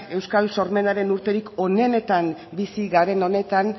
euskal sormenaren urterik onenetan bizi garen honetan